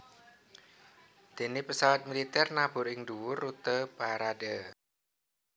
Déné pesawat militer nabur ing dhuwur rute parade